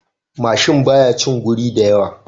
Mashin baya shin guri da yawa